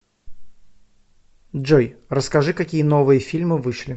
джой расскажи какие новые фильмы вышли